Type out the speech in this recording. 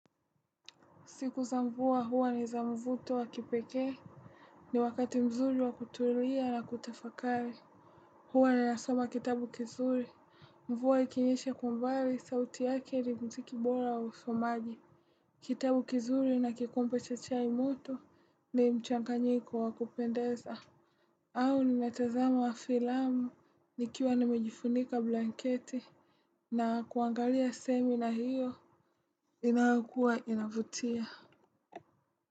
Siku za mvua huwa ni za mvuto wa kipekee. Ni wakati mzuri wa kutulia na kutafakari. Huwa ninasoma kitabu kizuri. Mvua ikinyesha kwa umbali, sauti yake ni mziki bora wa usomaji. Kitabu kizuri na kikombe cha chai moto ni mchanganyiko wa kupendeza. Au ninatazama filamu nikiwa nimejifunika blanketi na kuangalia sehemu na hiyo inayokuwa inavutia.